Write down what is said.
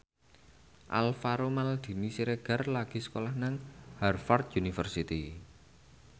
Alvaro Maldini Siregar lagi sekolah nang Harvard university